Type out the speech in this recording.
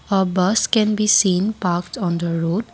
a bus can be seen parked on the road.